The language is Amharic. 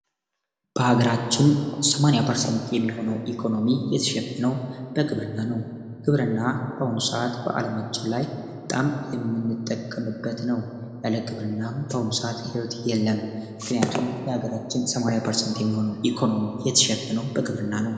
በአገራችን ሰማንያ የምርሰንት የሚሆነው ኢኮኖሚ የት ሚሸፈነው በግብርና ነው። በአሁኑ ሰዓት በጣም የምንጠቀምበትም ያለ ግብርና በአሁኑ ሰዓት ይወት የለም ምክንያቱም የሀገራችን 80% የሚሆነው የተሸፈነው በግብርና ነው።